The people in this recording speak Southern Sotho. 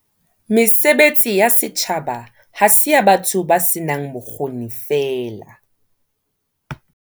Mesebetsi ya setjhaba ha se ya batho ba senang bokgoni feela.